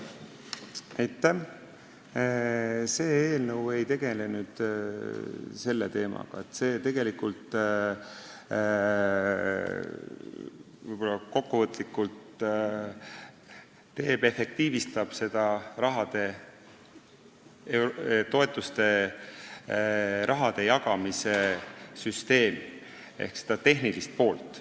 See eelnõu ei tegele selle teemaga, vaid efektiivistab tegelikult toetuste jagamise süsteemi, eelkõige seda tehnilist poolt.